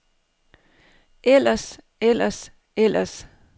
ellers ellers ellers